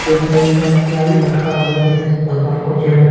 ऊपर एक मटका लटका हुआ है जिसमें से भगवान को जल----